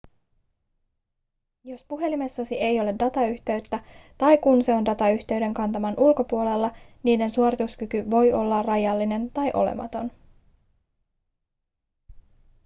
jos puhelimessasi ei ole datayhteyttä tai kun se on datayhteyden kantaman ulkopuolella niiden suorituskyky voi olla rajallinen tai olematon